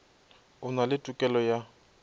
o na le tokelo ya